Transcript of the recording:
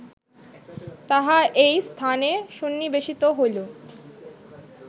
তাহা এই স্থানে সন্নিবেশিত হইল